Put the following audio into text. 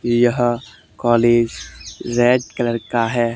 यह college red colour का है।